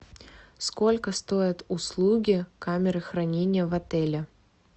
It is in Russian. сколько стоят услуги камеры хранения в отеле